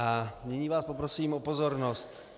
- A nyní vás poprosím o pozornost.